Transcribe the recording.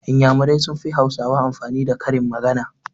Iyamurai sun fi hausawa amfani da karin magana